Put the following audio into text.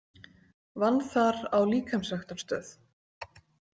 Vann þar á líkamsræktarstöð.